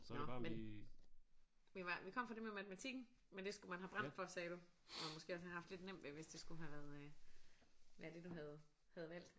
Nåh men vi var vi kom fra det med matematikken men det skulle man have brændt for sagde du og måske også have haft lidt nemt ved hvis det skulle have været øh været det du havde havde valgt